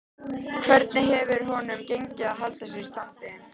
Hvernig hefur honum gengið að halda sér í standi?